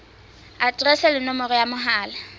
aterese le nomoro ya mohala